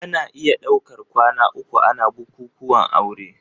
Ana iya daukar kwana uku ana bukuwan aure.